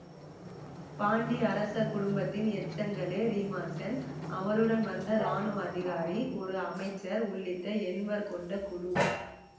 பாண்டிய அரச குடும்பத்தின் எச்சங்களே ரீமாசென் அவருடன் வந்த இராணுவ அதிகாரி ஒரு அமைச்சர் உள்ளிட்ட எண்வர் கொண்ட குழு